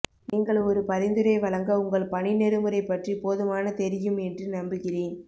நீங்கள் ஒரு பரிந்துரை வழங்க உங்கள் பணி நெறிமுறை பற்றி போதுமான தெரியும் என்று நம்புகிறேன்